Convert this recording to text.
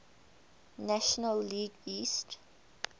national league east